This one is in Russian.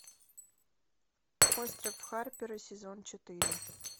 остров харпера сезон четыре